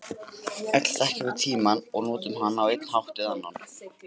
Öll þekkjum við tímann og notum hann á einn eða annan hátt.